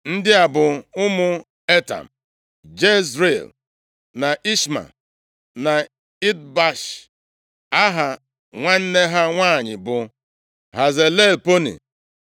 Ndị a bụ ụmụ Etam: Jezril, na Ishma, na Idbash, aha nwanne ha nwanyị bụ Hazelelponi.